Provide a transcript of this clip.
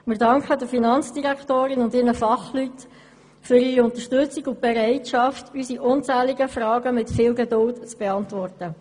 Wir danken der Finanzdirektorin und ihren Fachleuten für ihre Unterstützung und für die Bereitschaft, unsere unzähligen Fragen mit viel Geduld zu beantworten.